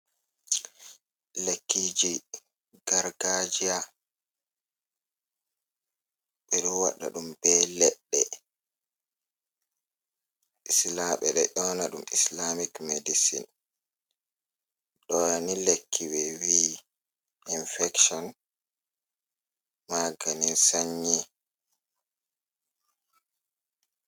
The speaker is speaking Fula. Lekkiiji gargaajiya, ɓe ɗo waɗa ɗum bee leɗɗe isla ɓe ɗo ƴoona ɗum "islamic medicine". Ɗoo ni lekki ɓe vi’i "infection, maganin sannyi".